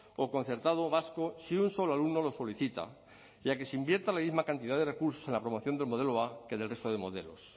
o concertado vasco si un solo alumno lo solicita y a que se invierta la misma cantidad de recursos en la promoción del modelo a que en el resto de modelos